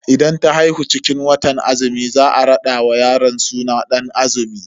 Idan ta haihu cikin watan azumi za a rada wa yaron suna Dan azumi.